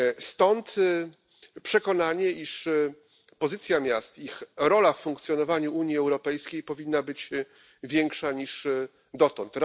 Stąd przekonanie, iż pozycja miast i ich rola w funkcjonowaniu Unii Europejskiej powinna być większa niż dotąd.